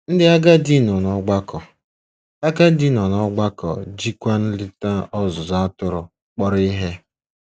Ndị agadi nọ n'ọgbakọ agadi nọ n'ọgbakọ jikwa nleta ọzụzụ atụrụ kpọrọ ihe.